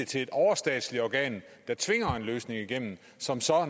til et overstatsligt organ der tvinger en løsning igennem som